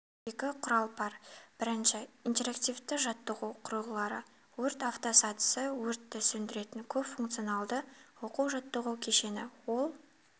екі құрал бар бірінші интерактивті жаттығу құрылғылары өрт автосатысы өртті сөндіретін көпфункционалды оқу-жаттығу кешені ол